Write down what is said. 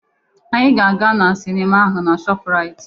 Anyị ga-aga na sinima ahụ na Shọpuraiti.